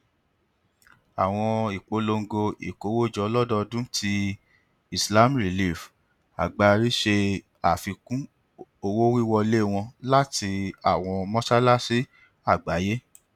awọn ipolongo ikowojo lododun ti islam relief agbari ṣe afikun owowiwọle wọn lati awọn mọṣalaṣi agbaye